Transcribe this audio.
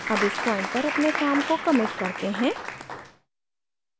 अब इस point पर अपने काम को commit करते हैं